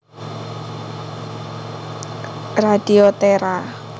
Radio Terra